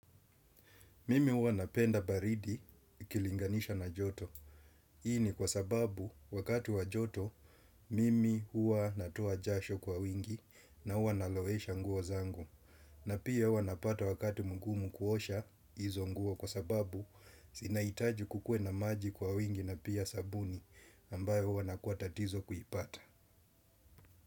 Mimi huwa napenda baridi ikilinganishwa na joto. Hii ni kwa sababu wakati wa joto, mimi huwa natoa jasho kwa wingi na huwa nalowesha nguo zangu. Na pia huwa napata wakati mugumu kuosha, hizo nguo kwa sababu, zinahitaji kukue na maji kwa wingi na pia sabuni, ambayo hua nakua tatizo kuipata.